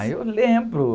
Ah, eu lembro.